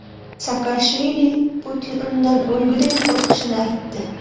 Saakashvili Putin undan o‘lguday qo‘rqishini aytdi.